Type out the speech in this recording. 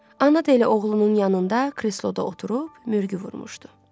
Ana da elə oğlunun yanında kresloda oturub mürgü vurmuşdu.